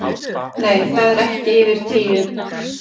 Nei, það eru ekki yfir tíu